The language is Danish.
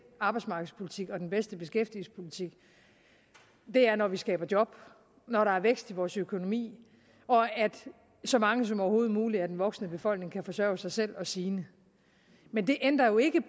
arbejdsmarkedspolitik og den bedste beskæftigelsespolitik er når vi skaber job når der er vækst i vores økonomi og når så mange som overhovedet muligt af den voksne befolkning kan forsørge sig selv og sine men det ændrer jo ikke